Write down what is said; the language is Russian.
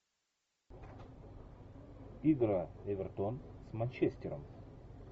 игра эвертон с манчестером